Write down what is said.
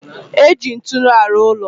Eji nturu alu ulo